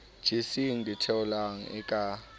jeseng ditheohelang e le ka